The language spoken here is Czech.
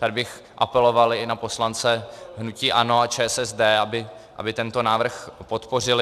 Tady bych apeloval i na poslance hnutí ANO a ČSSD, aby tento návrh podpořili.